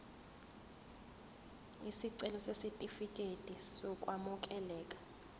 isicelo sesitifikedi sokwamukeleka